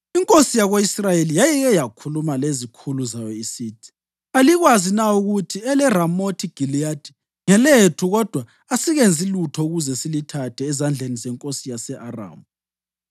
Inkosi yako-Israyeli yayike yakhuluma lezikhulu zayo isithi, “Alikwazi na ukuthi eleRamothi Giliyadi ngelethu kodwa asikenzi lutho ukuze silithathe ezandleni zenkosi yase-Aramu?”